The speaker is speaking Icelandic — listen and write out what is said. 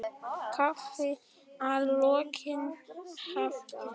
Kaffi að lokinni athöfn.